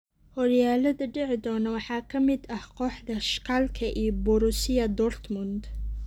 Horyaalada dhici doona waxaa ka mid ah kooxda Schalke iyo Borussia Dortmund.